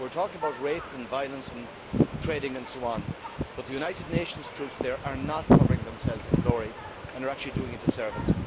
We are talking about rape, violence, trading and so on, but the United Nations troops there are not covering themselves in glory and are actually doing a disservice.